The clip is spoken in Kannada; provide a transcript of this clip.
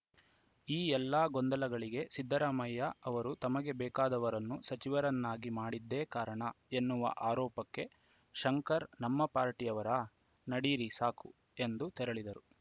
ಈ ಎಲ್ಲ ಗೊಂದಲಗಳಿಗೆ ಸಿದ್ದರಾಮಯ್ಯ ಅವರು ತಮಗೆ ಬೇಕಾದವರನ್ನು ಸಚಿವರನ್ನಾಗಿ ಮಾಡಿದ್ದೇ ಕಾರಣ ಎನ್ನುವ ಆರೋಪಕ್ಕೆ ಶಂಕರ್‌ ನಮ್ಮ ಪಾರ್ಟಿಯವರಾ ನಡೀರಿ ಸಾಕು ಎಂದು ತೆರಳಿದರು